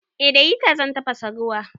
Eh da hita zan tafasa ruwa.